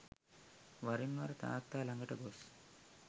වරින් වර තාත්තා ළඟට ගොස්